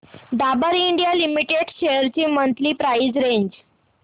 Dabur India limited shares ची monthly price range